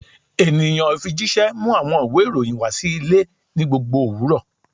Eniyan ifijiṣẹ mu awọn iwe iroyin wa si ile ni gbogbo owurọ